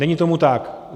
Není tomu tak.